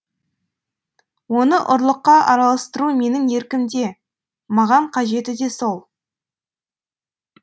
оны ұрлыққа араластыру менің еркімде маған қажеті де сол